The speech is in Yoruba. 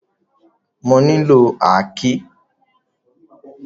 Mo nílò àáké.